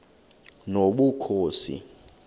nobukhosi